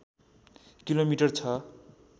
kilometre छ